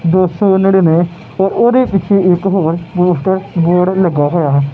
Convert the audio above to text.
ਦੋ ਸੋ ਨਨਿੰਵੇ ਉਹਦੇ ਪਿੱਛੇ ਇੱਕ ਹੋਰ ਪੋਸਟਰ ਬੋਰਡ ਲੱਗਿਆ ਹੋਇਆ।